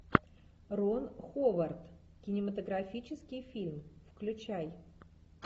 рон ховард кинематографический фильм включай